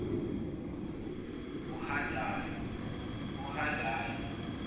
uhadadi